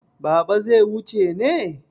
Baba zai wuce ne?